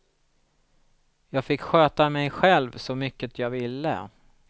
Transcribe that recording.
Jag fick sköta mig själv så mycket jag ville.